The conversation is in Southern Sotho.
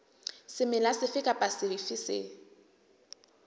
semela sefe kapa sefe se